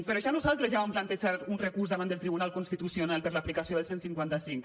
per això nosaltres ja vam plantejar un recurs davant del tribunal constitucional per a l’aplicació del cent i cinquanta cinc